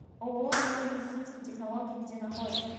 ооо новые медицинские технологии где находится